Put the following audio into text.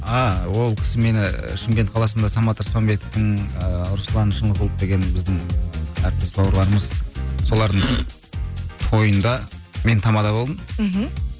ааа ол кісі мені шымкент қаласында самат аспанбетовтің ыыы руслан шынығұлов деген біздің әріптес бауырларымыз солардың тойында мен тамада болдым мхм